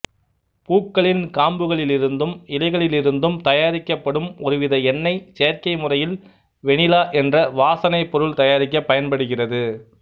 பூக்களின் காம்புகளிலிருந்தும் இலைகளிலிருந்தும் தயாரிக்கப்படும் ஒரு வித எண்ணெய் செயற்கை முறையில் வெணிலா என்ற வாசனைப் பொருள் தயாரிக்கப் பயன்படுகிறது